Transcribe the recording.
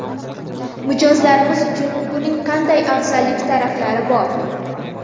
Mijozlarimiz uchun buning qanday afzallik taraflari bor?